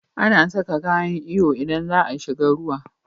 Ana Saka kayan iyo idan zaa shiga ruwa